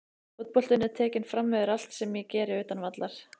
Fótboltinn er tekinn framyfir allt sem ég geri utan vallar.